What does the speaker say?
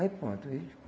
Aí pronto.